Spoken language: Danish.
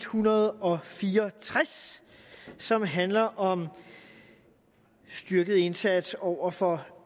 hundrede og fire og tres som handler om en styrket indsats over for